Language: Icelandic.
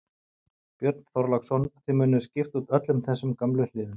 Björn Þorláksson: Þið munuð skipta út öllum þessum gömlu hliðum?